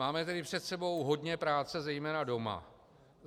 Máme tedy před sebou hodně práce zejména doma.